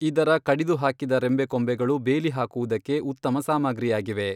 ಇದರ ಕಡಿದು ಹಾಕಿದ ರೆಂಬೆ ಕೊಂಬೆಗಳು ಬೇಲಿ ಹಾಕುವುದಕ್ಕೆ ಉತ್ತಮ ಸಾಮಗ್ರಿಯಾಗಿವೆ.